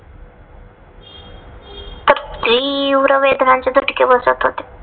तीव्र वेदनांचे झटके बसत होते.